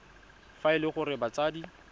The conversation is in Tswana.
fa e le gore batsadi